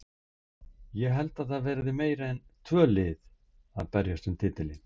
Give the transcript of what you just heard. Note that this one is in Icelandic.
Ég held að það verði meira en tvö lið að berjast um titilinn.